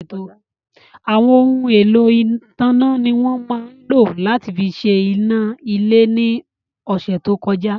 Àwọn ohun èlò ìtanná ni wọ́n lò láti fi ṣe iná ilé ní ọ̀sẹ̀ tó kọjá.